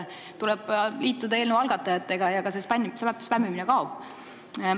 Tuleb liituda eelnõu algatajatega ja see spämmimine kaob.